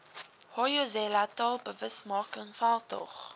hoyozela taalbewusmaking veldtog